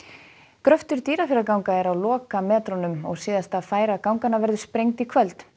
gröftur Dýrafjarðarganga er á lokametrunum síðasta færa ganganna verður sprengd í kvöld